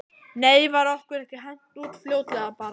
Nei var okkur ekki hent út fljótlega bara?